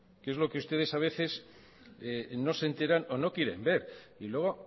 que es lo que ustedes a veces no se enteran o no quieren ver y luego